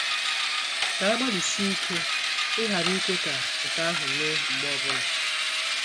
Ka anyị gbalịsie ike ịghara ikwe ka nke ahụ mee mgbe ọ bụla.